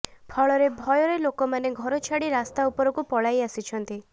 ଫଳରେ ଭୟରେ ଲୋକମାନେ ଘର ଛାଡ଼ି ରାସ୍ତା ଉପରକୁ ପଳାଇ ଆସିଛନ୍ତି